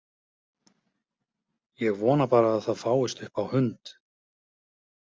Ég vona bara að það fáist upp á hund!